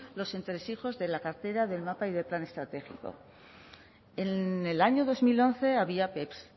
los entresijos de la cartera del mapa y del plan estratégico en el año dos mil once había peps